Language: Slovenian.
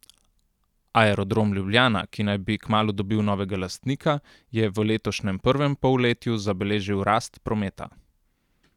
Aerodrom Ljubljana, ki naj bi kmalu dobil novega lastnika, je v letošnjem prvem polletju zabeležil rast prometa.